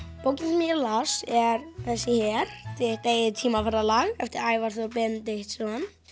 bókin sem ég las er þessi hér þitt eigið eftir Ævar Þór Benediktsson